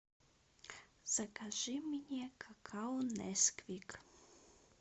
закажи мне какао несквик